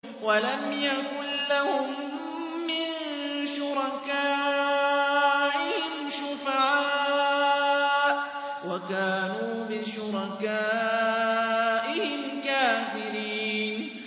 وَلَمْ يَكُن لَّهُم مِّن شُرَكَائِهِمْ شُفَعَاءُ وَكَانُوا بِشُرَكَائِهِمْ كَافِرِينَ